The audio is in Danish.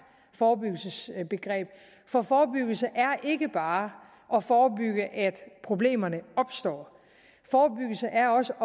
forebyggelsesbegreb for forebyggelse er ikke bare at forebygge at problemerne opstår forebyggelse er også